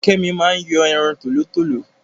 Kẹ́mi máa ń yan ẹran tòlótòló